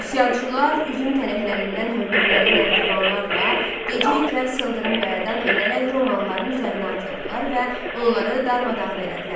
Üsyançılar üzüm tənəklərindən hördükləri nərdivanlarla gecə ikən sıldırım qayadan enərək romanlıların üzərinə atıldılar və onları darmadağın elədilər.